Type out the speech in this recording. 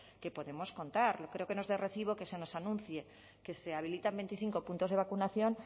que podemos contar creo que no es de recibo que se nos anuncie que se habilitan veinticinco puntos de vacunación